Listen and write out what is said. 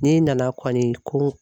N'i nana kɔni ko